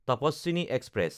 Tapaswini express